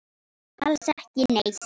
Alls ekki neitt.